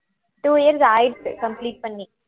two years ஆயிடுத்து complete பண்ணி